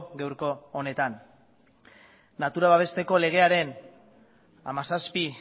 gaurko honetan natura babesteko legearen hamazazpi